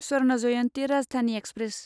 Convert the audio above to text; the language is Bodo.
स्वर्ण जयन्ति राजधानि एक्सप्रेस